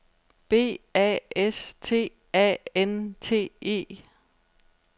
B A S T A N T E